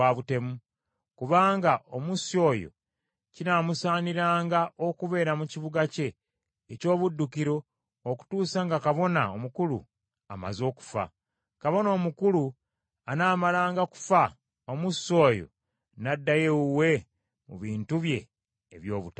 Kubanga omussi oyo kinaamusaaniranga okubeera mu kibuga kye eky’obuddukiro okutuusa nga Kabona Omukulu amaze okufa. Kabona Omukulu anaamalanga kufa, omussi oyo n’addayo ewuwe mu bintu bye eby’obutaka.